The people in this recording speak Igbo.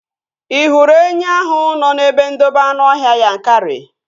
Ị hụrụ enwe ahụ nọ n'ebe ndobe anụọhịa Yankari?